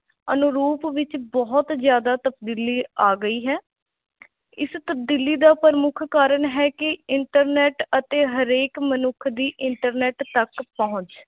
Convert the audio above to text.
ਅਨੁਰੂਪ ਵਿੱਚ ਬਹੁਤ ਜ਼ਿਆਦਾ ਤਬਦੀਲੀ ਆ ਗਈ ਹੈ ਇਸ ਤਬਦੀਲੀ ਦਾ ਪ੍ਰਮੁੱਖ ਕਾਰਨ ਹੈ ਕਿ internet ਅਤੇ ਹਰੇਕ ਮਨੁੱਖ ਦੀ internet ਤੱਕ ਪਹੁੰਚ।